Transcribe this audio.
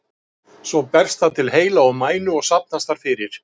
Svo berst það til heila og mænu og safnast þar fyrir.